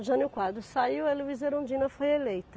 O Jânio Quadros saiu e a Luíza Erundina foi eleita.